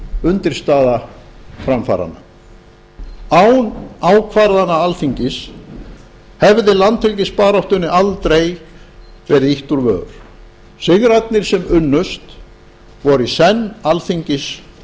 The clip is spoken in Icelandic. undirstaða framfaranna án ákvarðana alþingis hefði landhelgisbaráttunni aldrei verið ýtt úr vör sigrarnir sem unnust voru í senn alþingis